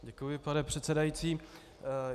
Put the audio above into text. Děkuji, pane předsedající.